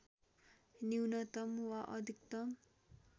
न्यूनतम वा अधिकतम